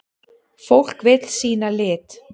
Fólk vill sýna lit.